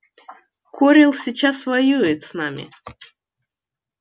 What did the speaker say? корел сейчас воюет с нами